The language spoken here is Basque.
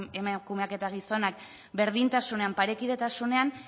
emakumeak eta gizonak berdintasunean parekidetasunean